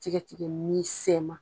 Tigɛ tigɛ misɛn ma